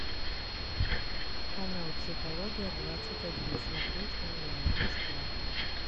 канал психология двадцать один смотреть онлайн бесплатно